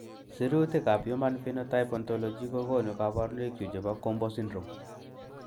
Sirutikab Human Phenotype Ontology kokonu koborunoikchu chebo GOMBO syndrome.